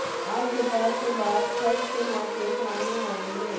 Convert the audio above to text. आज दोपहर के बाद खर्च के मौके सामने आएंगे